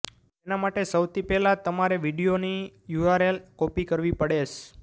તેના માટે સૌથી પહેલાં તમારે વીડિયોની યુઆરએલ કોપી કરવી પડેશ